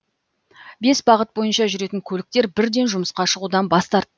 бес бағыт бойынша жүретін көліктер бірден жұмысқа шығудан бас тарт